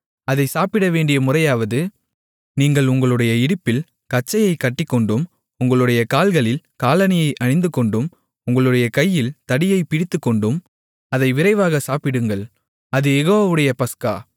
அதைச் சாப்பிடவேண்டிய முறையாவது நீங்கள் உங்களுடைய இடுப்பில் கச்சையைக் கட்டிக்கொண்டும் உங்களுடைய கால்களில் காலணியை அணிந்துகொண்டும் உங்களுடைய கையில் தடியைப் பிடித்துக்கொண்டும் அதை விரைவாக சாப்பிடுங்கள் அது யெகோவாவுடைய பஸ்கா